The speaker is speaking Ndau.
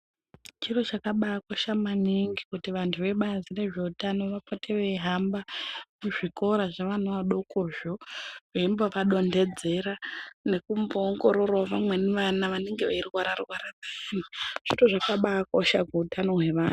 Chiro chakabai kosha maningi kuti vantu vebazi rezve utano vapote veyi hamba mu zvikora zve vana vadokozvo veimbo vadondedzera nekumbo ongororawo vamweni vana vanenge veyi rwara rwara zviro zvakabai kosha ku utano hwe vantu.